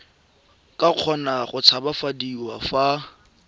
ka kgona go tshabafadiwa fa